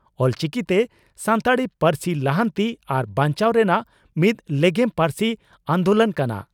ᱚᱞᱪᱤᱠᱤᱛᱮ ᱥᱟᱱᱛᱟᱲᱤ ᱯᱟᱹᱨᱥᱤ ᱞᱟᱦᱟᱱᱛᱤ ᱟᱨ ᱵᱟᱧᱪᱟᱣ ᱨᱮᱱᱟᱜ ᱢᱤᱫ ᱞᱮᱜᱮᱢ ᱯᱟᱹᱨᱥᱤ ᱟᱱᱫᱚᱞᱚᱱ ᱠᱟᱱᱟ ᱾